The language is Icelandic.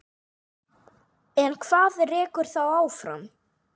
En hvað rekur þá áfram?